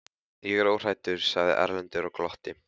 Ég er óhræddur, sagði Erlendur og glotti.